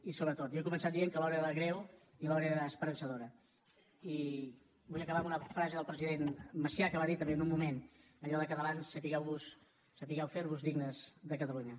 i sobretot jo he començat dient que l’hora era greu i l’hora era esperançadora i vull acabar amb una frase del president macià que va dir també en un moment allò de catalans sapigueu fer vos dignes de catalunya